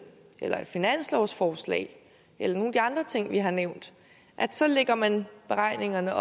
eller et finanslovsforslag eller nogle af de andre ting vi har nævnt lægger man beregningerne